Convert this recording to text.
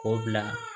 K'o bila